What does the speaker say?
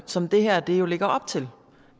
som det her jo lægger op til